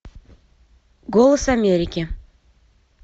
голос америки